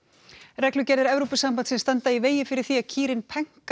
reglugerðir Evrópusambandsins standa í vegi fyrir því að kýrin